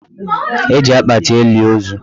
E ji akpati eli ozu.